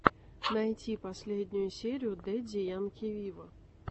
найти последнюю серию дэдди янки виво